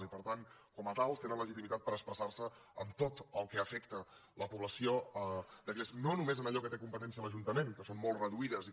i per tant com a tals tenen legitimitat per expressar se en tot el que afecta la població no només en allò que té competències l’ajuntament que són molt reduïdes i que